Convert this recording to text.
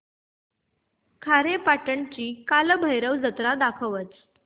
खारेपाटण ची कालभैरव जत्रा दाखवच